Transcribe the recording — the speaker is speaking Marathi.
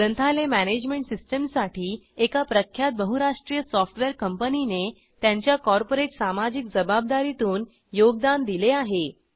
ग्रंथालय मॅनेजमेंट सिस्टीमसाठी एका प्रख्यात बहुराष्ट्रीय सॉफ्टवेअर कंपनीने त्यांच्या कॉर्पोरेट सामाजिक जबाबदारीतून योगदान दिले आहे